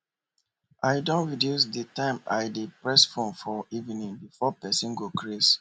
i don reduce d time i de press fone for evening before person go crase